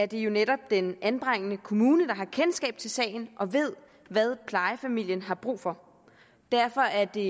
det jo netop den anbringende kommune der har kendskab til sagen og ved hvad plejefamilien har brug for derfor er det